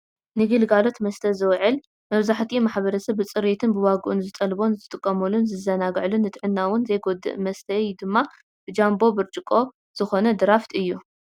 ንግልጋሎት መስተ ዝውዕል መብዛሕትኡ ማሕበረሰብ ብፅሬቱን ብዋግኡን ዝጠልቦን ዝጥቀመሉን ዝዘናግዐሉን ንጥዕና እውን ዘይጎድእን መስተይኡ ድማ ጃምቦ ብርጭቆ ዝኾነ ድራፍት እዩ።